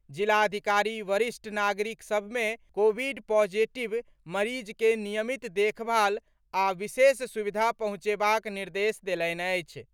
जिलाधिकारी वरिष्ठ नागरिक सभ मे कोविड पॉजिटिव मरीज के नियमित देखभाल आ विशेष सुविधा पहुंचेबाक निर्देश देलनि अछि।